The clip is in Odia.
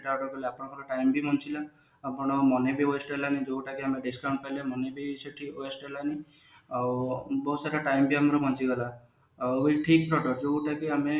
order କଲେ ଆପଣଙ୍କର time ବି ବଞ୍ଚିଲା ଆପଣଙ୍କର money ବି waste ହେଲାନି ଯୋଉଟା କି ଆମେ discount ପାଇଲେ money ବି ସେଠି waste ହେଲାନି ଆଉ ବହୁତ ସାରା time ବି ଆମର ବଞ୍ଚିଗଲା